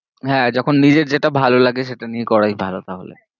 হ্যাঁ যখন নিজের যেটা ভালো লাগে সেটা নিয়ে করে ভালো তাহলে।